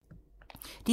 DR2